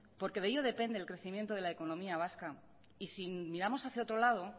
porque de ello depende el crecimiento de la economía vasca y sí miramos hacía otro lado